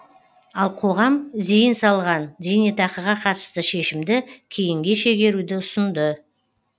ал қоғам зейін салған зейнетақыға қатысты шешімді кейінге шегеруді ұсынды